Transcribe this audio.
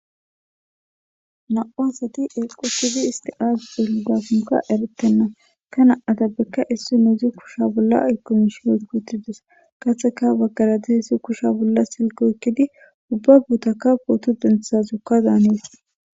Nam'u asati eqqi uttidi isst azi xellizakko eretena he na'atappeka issinozi kushsha bolla ayikko mishshi oyikki uttidis qase ha baggara dizzayisi kusha bolla sillke oyikkidi ubba bottakka pooto denththizazoka dannes.